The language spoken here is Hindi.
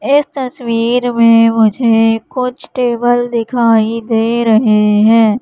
इस तस्वीर में मुझे कुछ टेबल दिखाई दे रहे है।